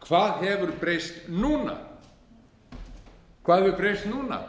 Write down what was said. hvað hefur breyst núna